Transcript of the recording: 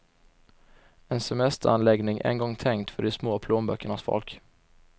En semesteranläggning en gång tänkt för de små plånböckernas folk.